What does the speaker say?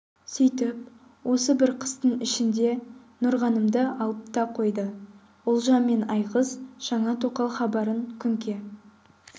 сүйтіп осы бір қыстың ішінде нұрғанымды алып та қойды ұлжан мен айғыз жаңа тоқал хабарын күнке